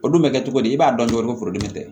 O dun bɛ kɛ cogo di i b'a dɔn cogo min foro in tɛ